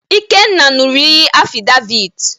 Ikenna ṅụrụ iyi Afịdevịt